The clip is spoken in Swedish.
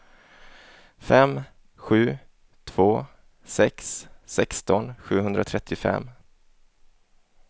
fem sju två sex sexton sjuhundratrettiofem